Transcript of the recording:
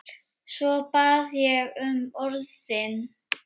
Svo bað ég um orðið.